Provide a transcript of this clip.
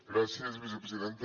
gràcies vicepresidenta